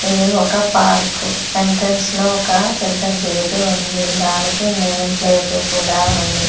ఇది ఒక park entrance లో ఒక పెద్ద గేటు ఉంది దానికి నేమ్ ప్లేటు కూడా ఉంది.